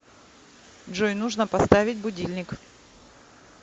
джой нужно поставить будильник